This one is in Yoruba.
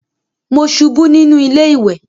Mo ṣubú nínú ilé ìwẹ̀